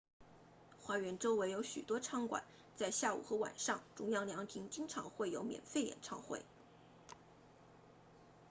花园周围有许多餐馆在下午和晚上中央凉亭经常会有免费演唱会